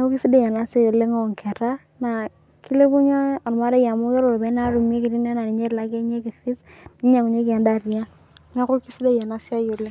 enkicho olchala, naa kilepunye ormarei amu ore iropiyiani naa tumi naa niche elakieki fees ninosieki edaa tiang'.